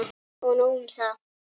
Og nóg um það.